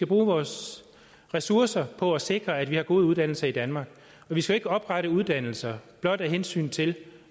bruge vores ressourcer på at sikre at vi har gode uddannelser i danmark vi skal ikke oprette uddannelser blot af hensyn til